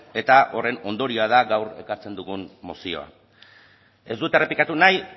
eta horren ondorioa da gaur ekartzen dugun mozioa ez dut errepikatu nahi